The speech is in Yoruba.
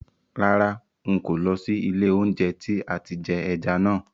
Rárá, ń kò ó lọ sí ilé oúnjẹ tí àti jẹ ẹja náà